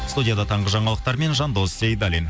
студияда таңғы жаңалықтармен жандос сейдаллин